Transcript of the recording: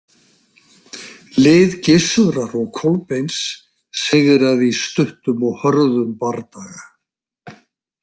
Lið Gissurar og Kolbeins sigraði í stuttum og hörðum bardaga.